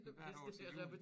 Hvert år til jul